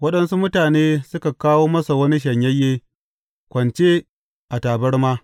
Waɗansu mutane suka kawo masa wani shanyayye, kwance a tabarma.